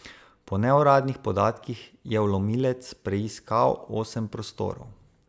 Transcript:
Po neuradnih podatkih je vlomilec preiskal osem prostorov.